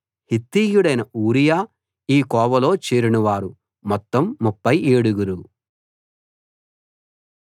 హిత్తీయుడైన Uriah ఈ కోవలో చేరినవారు మొత్తం ముప్ఫై ఏడుగురు